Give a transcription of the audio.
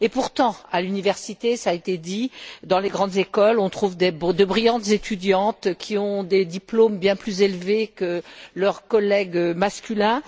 Et pourtant, à l'université, cela a été dit dans les grandes écoles, on trouve de brillantes étudiantes qui ont des diplômes bien plus élevés que leurs collègues masculins.